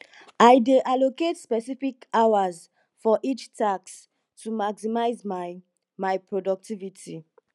i dey allocate specific hours for each task to maximize my my productivity